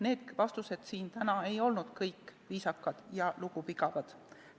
Need vastused siin täna ei olnud kõik viisakad ja lugupidavad.